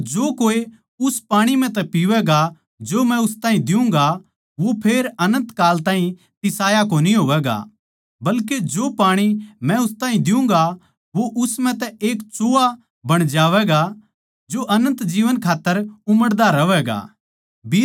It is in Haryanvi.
पर जो कोए उस पाणी म्ह तै पीवैगा जो मै उस ताहीं दियुँगा वो फेर अनन्त काल ताहीं तिसाया कोनी होवैगा बल्के जो पाणी मै उस ताहीं दियुँगा वो उस म्ह एक सोत्ता बण ज्यागा जो अनन्त जीवन खात्तर उमड़दा रहवैगा